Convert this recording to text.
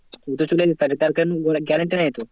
উ তো চলে যেতে পারে তার কোনো guarantee নেই তো।